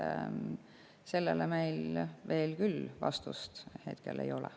Sellele meil veel küll vastust ei ole.